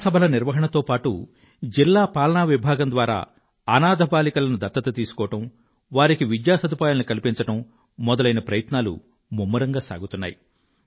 గ్రామ సభల నిర్వహణతో పాటు జిల్లా పాలనా విభాగం ద్వారా అనాధ బాలికలను దత్తత తీసుకోవడం వారికి విద్యా సదుపాయాలను కల్పించడం మొదలైన ప్రయత్నాలు ముమ్మరంగా సాగుతున్నాయి